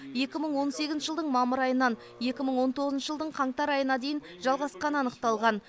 екі мың он сегізінші жылдың мамыр айынан екі мың он тоғызншы жылдың қаңтар айына дейін жалғасқаны анықталған